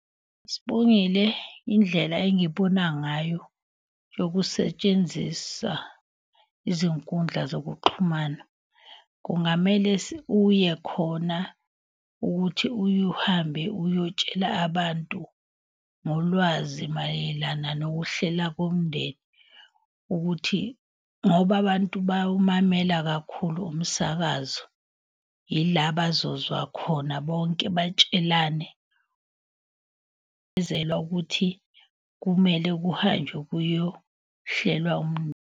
Sibongile, indlela engibona ngayo yokusetshenzisa izinkundla zokuxhumana. Kungamele uye khona ukuthi uye uhambe uyotshela abantu ngolwazi mayelana nokuhlela komndeni. Ukuthi, ngoba abantu bayawumamela kakhulu umsakazo, ila bazozwa khona bonke batshelane ukuthi kumele kuhanjwe kuyohlelwa .